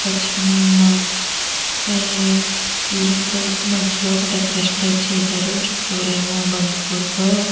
ఒక చిన్న building type మధ్యలో ఒక డెకరేషన్ టైపు చేసారు చుట్టూరు ఏమో బంతి పూలతో --